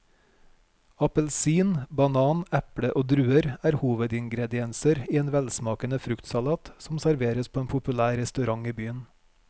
Appelsin, banan, eple og druer er hovedingredienser i en velsmakende fruktsalat som serveres på en populær restaurant i byen.